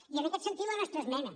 i en aquest sentit la nostra esmena